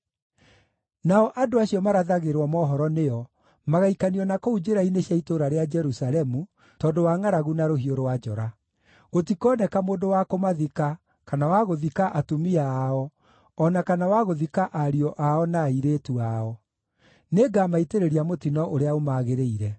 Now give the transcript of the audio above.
Nao andũ acio marathagĩrwo mohoro nĩo, magaikanio na kũu njĩra-inĩ cia itũũra rĩa Jerusalemu tondũ wa ngʼaragu na rũhiũ rwa njora. Gũtikoneka mũndũ wa kũmathika, kana wa gũthika atumia ao, o na kana wa gũthika ariũ ao na airĩtu ao. Nĩngamaitĩrĩria mũtino ũrĩa ũmagĩrĩire.